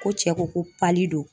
Ko cɛ ko pali don.